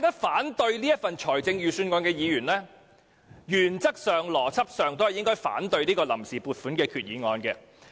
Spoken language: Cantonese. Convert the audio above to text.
反對這份預算案的議員，原則上和邏輯上都應該反對這項臨時撥款決議案。